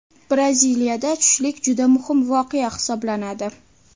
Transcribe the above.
Braziliyada tushlik juda muhim voqea hisoblanadi.